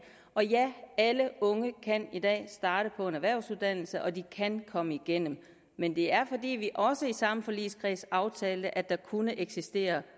og ja alle unge kan i dag starte på en erhvervsuddannelse og de kan komme igennem men det er fordi vi også i samme forligskreds aftalte at der kunne eksistere